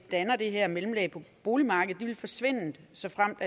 danner det her mellemlag på boligmarkedet vil forsvinde såfremt